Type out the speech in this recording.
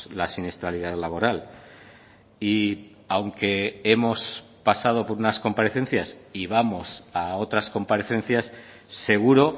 la siniestralidad laboral y aunque hemos pasado por unas comparecencias y vamos a otras comparecencias seguro